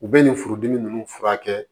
U bɛ nin furudimi ninnu furakɛ